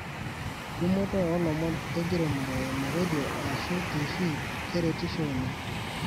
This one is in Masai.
Tumoto olomon lenkiremore eimu redio asu tifii keretisho oleng.